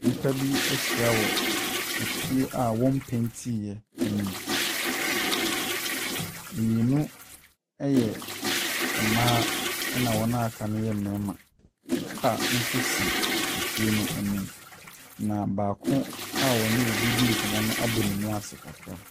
Nnipa bi ahyia wɔ fie a wɔmpeetiɛ anim. Mmienu ɛyɛ mmaa na wɔn aka no yɛ mmarima. Car nso si fie no anim. Na baako a ɔne obi nkɔmmɔ no abɔ ne mu ase kakra.